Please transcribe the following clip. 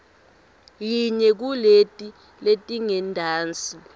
yinye kuleti letingentasi